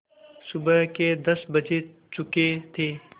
सुबह के दस बज चुके थे